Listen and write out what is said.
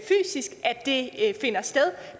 det finder sted